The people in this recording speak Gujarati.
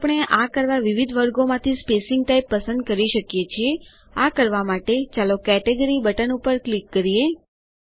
ફરી આપણે આ કરવા વિવિધ વર્ગોમાંથી સ્પેસીંગ ટાઈપ પસંદ કરી શકીએ છીએઆ કરવા માટે ચાલો કેટેગરી બટન ઉપર ક્લિક કરીએ